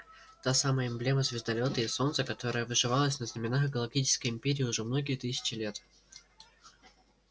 та самая эмблема звездолёта и солнца которая вышивалась на знамёнах галактической империи уже многие тысячи лет